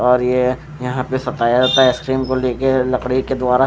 और ये यहां पे सताया आइसक्रीम को लेके लकड़ी के द्वारा--